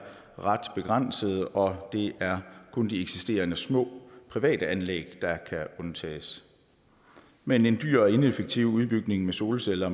ret begrænsede og det er kun de eksisterende små private anlæg der kan undtages men en dyr og ineffektiv udbygning med solceller